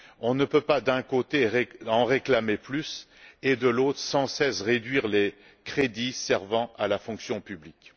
on ne peut pas, d'un côté, en réclamer plus et, de l'autre, réduire sans cesse les crédits servant à la fonction publique.